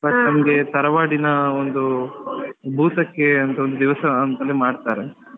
But ನಮ್ಗೆ ತರವಾಡಿನ ಒಂದು ಭೂತ ಕ್ಕೆ ಅಂತ ಒಂದು ಮಾಡ್ತಾರೆ.